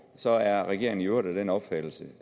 så er regeringen i øvrigt af den opfattelse